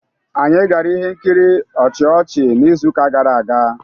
Anyị gara ihe nkiri ọchị ọchị n'izuụka gara aga.